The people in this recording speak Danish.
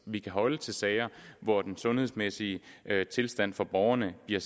vi kan holde til sager hvor den sundhedsmæssige tilstand for borgerne bliver